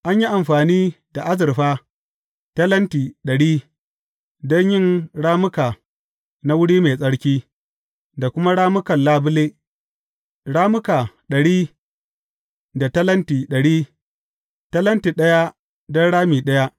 An yi amfani da azurfa talenti dari don yin rammuka na wuri mai tsarki, da kuma rammukan labule, rammuka dari daga talenti dari, talenti ɗaya don rami ɗaya.